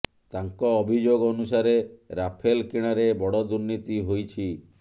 ତାଙ୍କ ଅଭିଯୋଗ ଅନୁସାରେ ରାଫେଲ କିଣାରେ ବଡ଼ ଦୁର୍ନୀତି ହୋଇଛି